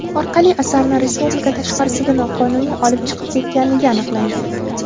orqali asarni respublika tashqarisiga noqonuniy olib chiqib ketganligi aniqlangan.